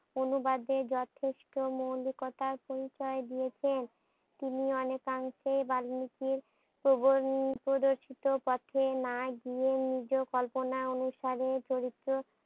অনুবাদে যথেষ্ট মৌলিকতার পরিচয় দিয়েছেন। তিনি অনেকাংশেই বার নীতির প্রবন প্রবেশিত পথে নাই দিয়ে নিজেও কল্পনা অনুসারে চরিত্র